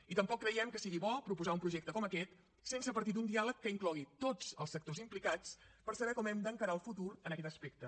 i tampoc creiem que sigui bo proposar un projecte com aquest sense partir d’un diàleg que inclogui tots els sectors implicats per saber com hem d’encarar el futur en aquest aspecte